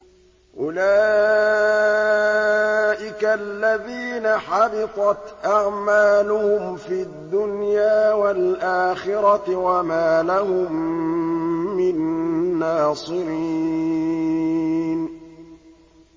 أُولَٰئِكَ الَّذِينَ حَبِطَتْ أَعْمَالُهُمْ فِي الدُّنْيَا وَالْآخِرَةِ وَمَا لَهُم مِّن نَّاصِرِينَ